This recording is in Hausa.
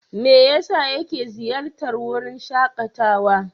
Me yasa yake ziyartar wurin shakatawa?